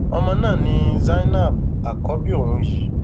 ọmọ náà ni zainab àkọbí òun yìí